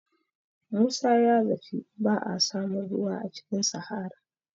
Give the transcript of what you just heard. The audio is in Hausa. Musa ya zaci ba a samun ruwa a cikin sahara